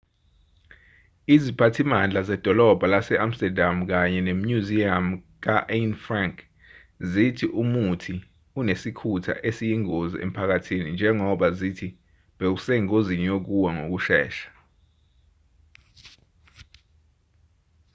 iziphathimandla zedolobha lase-amsterdam kanye nemnyuziyamu ka-anne frank zithi umuthi unesikhunta esiyingozi emphakathini njengoba zithi bowusengozini yokuwa ngokushesha